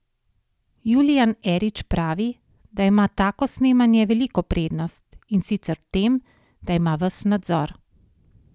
Julijan Erič pravi, da ima tako snemanje veliko prednost, in sicer v tem, da ima ves nadzor.